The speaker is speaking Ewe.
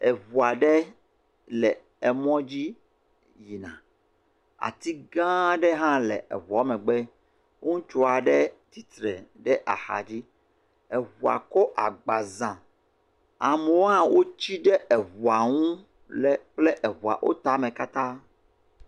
Eŋu aɖe le emɔdzi yina. Ati gãã aɖe hã le eŋua megbe. Ŋutsu aɖe titre ɖe axadzi. Eŋua kɔ agba zãa. Amewo hã wotsi ɖe eŋua ŋu le kple eŋua wo tame katã.